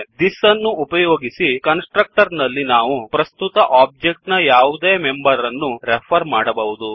thisದಿಸ್ ಅನ್ನು ಉಪಯೋಗಿಸಿ constructor ನಲ್ಲಿ ನಾವು ಪ್ರಸ್ತುತ ಒಬ್ಜೆಕ್ಟ್ ನ ಯಾವುದೇ ಮೆಂಬರ್ ಅನ್ನು ರೆಫರ್ ಮಾಡಬಹುದು